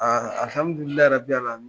Aaa alihamdulilahi arabili alaminna